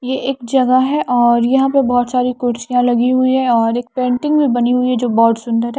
ये एक जगह है और यहां पे बहुत सारी कुर्सी लगी हुई है और एक पेटिंग भी बनी है जो बहुत सुंदर है।